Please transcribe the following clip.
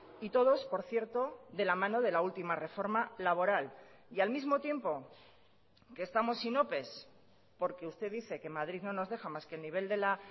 y todos por cierto de la mano de la última reforma laboral y al mismo tiempo que estamos sin ope porque usted dice que madrid no nos deja más que el nivel de la